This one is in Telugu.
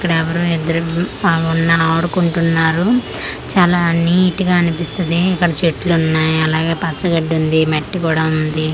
ఇక్కడో ఎవరో ఇద్దరు ఉన్న ఆడుకుంటున్నారు చాలా నీటుగా అనిపిస్తది ఇక్కడ చెట్లు ఉన్నాయి అలాగే పచ్చ గడ్డి ఉంది మట్టి కూడా ఉంది.